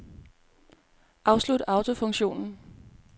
Afslut autofunktion.